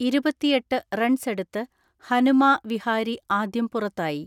ഇരുപത്തിഎട്ട് റൺസെടുത്ത് ഹനുമാ വിഹാരി ആദ്യം പുറത്തായി.